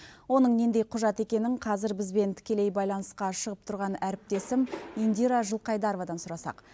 оның нендей құжат екенін қазір бізбен тікелей байланысқа шығып тұрған әріптесім индира жылқайдаровадан сұрасақ